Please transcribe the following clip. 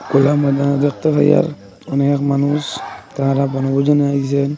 খোলামেলা দেখতে পাই আর অনেক মানুষ তারা বনভোজনে আইছেন।